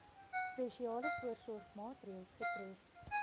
spesiale voorsorgmaatreëls getref